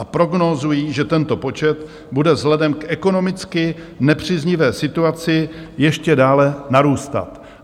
A prognózují, že tento počet bude vzhledem k ekonomicky nepříznivé situaci ještě dále narůstat.